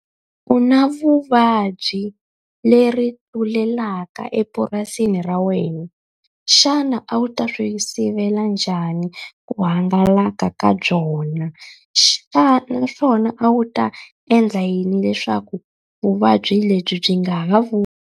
U na vuvabyi leri tlulelaka epurasini ra wena. Xana a wu ta swi sivela njhani ku hangalaka ka byona? naswona a wu ta endla yini leswaku vuvabyi lebyi byi a nga ha .